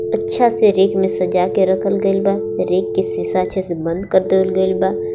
अच्छा से रैक में सजा के राखल गइल बा रैक के शीशा अच्छे से बंद कर देवल गइल बा.